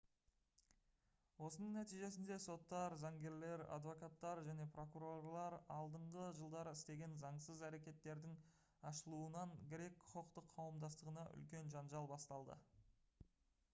осының нәтижесінде соттар заңгерлер адвокаттар және прокурорлар алдыңғы жылдары істеген заңсыз әрекеттердің ашылуынан грек құқықтық қауымдастығында үлкен жанжал басталды